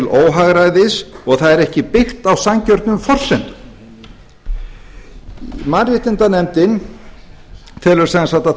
óhagræðis og það er ekki byggt á sanngjörnum forsendum mannréttindanefndin telur sem sagt að